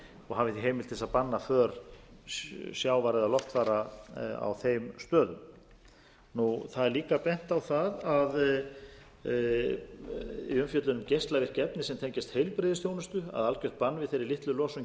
og hafi því heimild til þess að banna för sjávar eða loftfara á þeim stöðum það er líka bent á það í umfjöllun um geislavirk efni sem tengjast heilbrigðisþjónustu að algjört bann við þeirri litlu losun